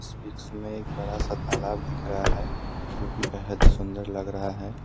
इस वृक्ष में एक बड़ा सा तालाब दिख रहा है जो कि बेहद ही सुंदर लग रहा है।